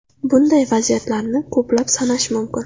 Bunday vaziyatlarni ko‘plab sanash mumkin.